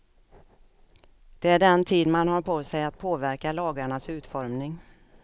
Det är den tid man har på sig att påverka lagarnas utformning.